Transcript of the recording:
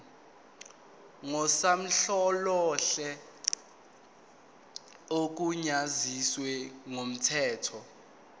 ngusonhlalonhle ogunyaziwe ngokomthetho